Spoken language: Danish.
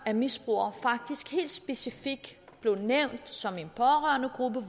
af misbrugere faktisk specifikt blev nævnt som en pårørendegruppe